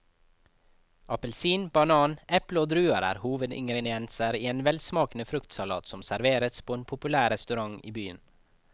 Appelsin, banan, eple og druer er hovedingredienser i en velsmakende fruktsalat som serveres på en populær restaurant i byen.